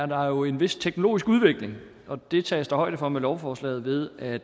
der jo en vis teknologisk udvikling og det tages der højde for med lovforslaget ved at